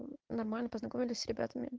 нормально познакомились с ребятами